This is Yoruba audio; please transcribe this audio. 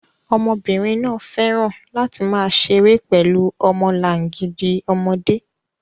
Ọmọbìnrin náà fẹ́ràn láti máa ṣeré pẹ̀lú ọmọlangidi ọmọdé